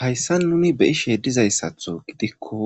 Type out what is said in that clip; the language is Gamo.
Hayssa nuni be7ishe dizayssatho gidikko